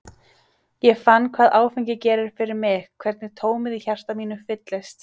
Ég fann hvað áfengi gerir fyrir mig, hvernig tómið í hjarta mínu fyllist.